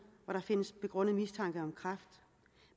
hvor der findes begrundet mistanke om kræft